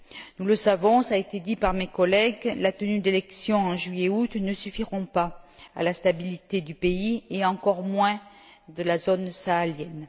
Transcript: Nous le savons, cela a été dit par mes collègues, la tenue d'élections en juillet et en août ne suffira pas à rétablir la stabilité du pays et encore moins de la zone sahélienne.